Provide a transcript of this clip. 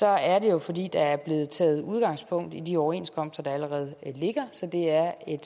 er det jo fordi der er blevet taget udgangspunkt i de overenskomster der allerede ligger så det er et